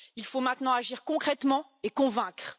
il faut maintenant agir concrètement et convaincre.